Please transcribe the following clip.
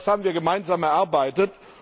Das haben wir gemeinsam erarbeitet.